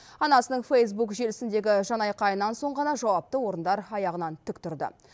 анасының фейсбук желісіндегі жанайқайынан соң ғана жауапты орындар аяғынан тік тұрды